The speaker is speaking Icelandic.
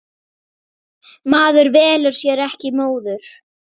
Maður velur sér ekki móður.